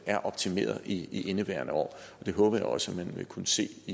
er optimeret i indeværende år og jeg håber at man også vil kunne se